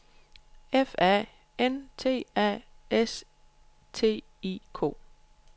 F A N T A S T I K